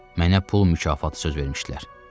Mənə pul mükafatı söz vermişdilər.